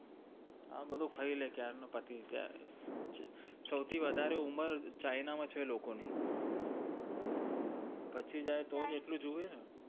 આ ભધુ ખાઈ લે ક્યારનું સૌથી વધારે ઉમર china માં છે લોકો ની પચી જાય તો એટલેજ તો આટલું જીવે ને